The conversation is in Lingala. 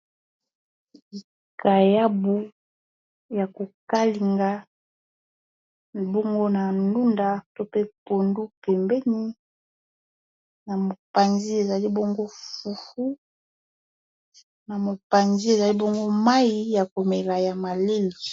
Likayabu ya kokalinga bongo na ndunda to pe pondu pembeni na mopanzi ezali bongo fufu na mopanzi ezali bongo mayi ya komela ya malili.